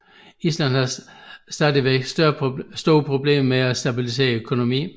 Island har stadig store problemer med at stabilisere økonomien